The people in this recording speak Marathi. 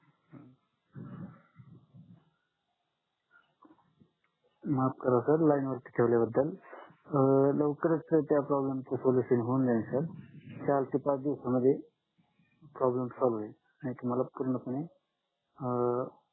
माफ करा सर लाईनवरती ठेवल्या बद्दल अं लवकरच त्या प्रॉब्लेम च सोलुशन होऊन जाईल सर चार ते पाच दिवस मध्ये प्रॉब्लेम सॉल्व्ह अनही तुम्हाला पूर्णपणे अं